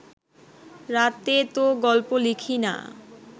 রাতে তো গল্প লিখি না